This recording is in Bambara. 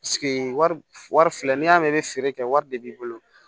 wari wari filɛ n'i y'a mɛn i bɛ feere kɛ wari de b'i bolo